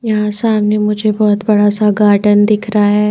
यहाँ सामने मुझे बहुत बड़ा सा गार्डेन दिख रहा है।